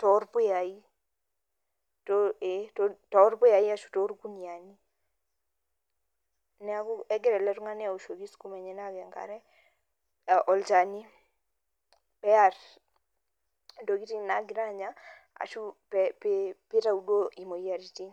torpuyayai. Ee torpuyayi ashu torkuniyiani. Neeku egira ele tung'ani aoshoki sukuma enyanak enkare, olchani, pear intokiting nagira anya, ashu pitau duo imoyiaritin.